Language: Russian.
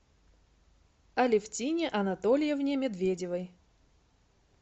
алефтине анатольевне медведевой